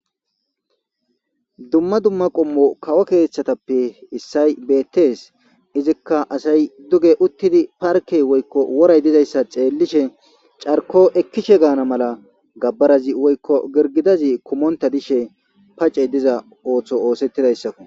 Dumma dumma qommo kawo keththatappe issoy bettes. Izikka asay dugge uttidi parkke woyko woray dizayssa xeelishe carko ekishe gana mala gabarazi woyko gergedazi kumontta dishshe pace diza oththo osetidayssakko.